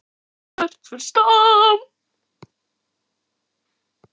Hvert fer Stam?